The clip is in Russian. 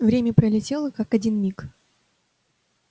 время пролетело как один миг